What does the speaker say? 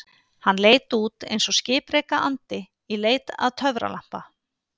Hann leit út eins og skipreika andi í leit að töfralampa.